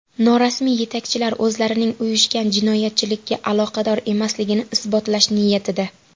Norasmiy yetakchilar o‘zlarining uyushgan jinoyatchilikka aloqador emasligini isbotlash niyatida.